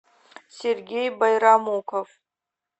сергей байрамуков